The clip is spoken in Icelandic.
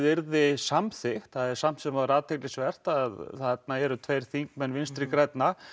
yrði samþykkt það er samt sem áður athyglisvert að þarna eru tveir þingmenn Vinstri grænna